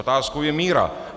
Otázkou je míra.